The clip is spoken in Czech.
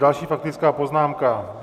Další faktická poznámka.